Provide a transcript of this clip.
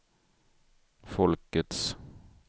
folkets